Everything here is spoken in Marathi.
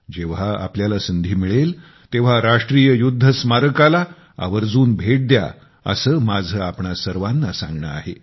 जेव्हा आपल्याला संधी मिळेल तेव्हा राष्ट्रीय युध्द स्मारकाला आवर्जून भेट द्या असे माझे आपणा सर्वाना सांगणे आहे